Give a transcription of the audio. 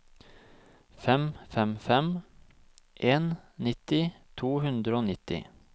fem fem fem en nitti to hundre og nitti